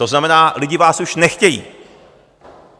To znamená, lidi vás už nechtějí.